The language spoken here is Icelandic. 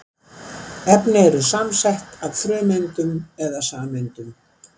Efni eru samansett af frumeindum eða sameindum.